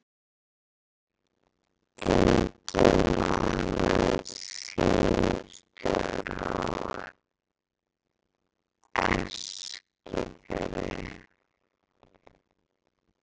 Einnig var hann símstjóri á Eskifirði.